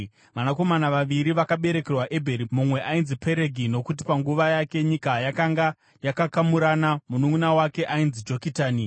Vanakomana vaviri vakaberekerwa Ebheri: mumwe ainzi Peregi, nokuti panguva yake nyika yakanga yakakamurana; mununʼuna wake ainzi Jokitani.